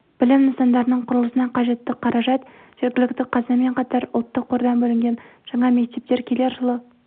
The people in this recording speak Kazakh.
білім нысандарының құрылысына қажетті қаражат жергілікті қазынамен қатар ұлттық қордан бөлінген жаңа мектептер келер жылы